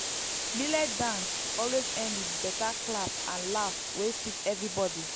millet dance always end with better clap and laugh wey sweet everybody.